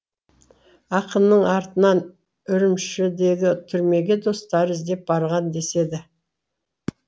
ақынның артынан үрімшідегі түрмеге достары іздеп барған деседі